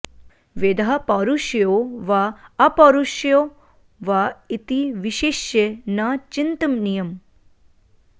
वेदः पौरुषेयो वा अपौरुषेयो वा इति विशिष्य न चिन्तनीयम्